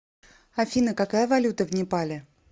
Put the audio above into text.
афина какая валюта в непале